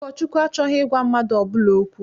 Ụkọchukwu achọghị ịgwa mmadụ ọbụla okwu.